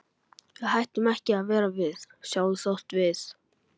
Við hættum ekki að vera við sjálf þótt við.